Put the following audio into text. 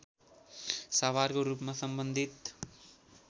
साभारको रूपमा सम्बन्धित